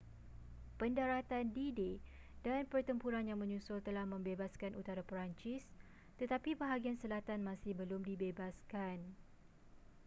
pendaratan d-day dan pertempuran yang menyusul telah membebaskan utara perancis tetapi bahagian selatan masih belum dibebaskan